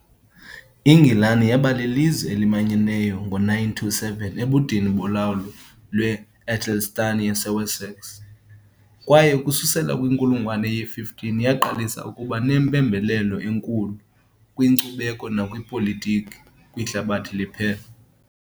INgilani yaba lilizwe elimanyeneyo ngo -927, ebudeni bolawulo lwe-AEthelstan yaseWessex, kwaye ukususela kwinkulungwane ye-15 yaqalisa ukuba nempembelelo enkulu, kwinkcubeko nakwipolitiki, kwihlabathi liphela.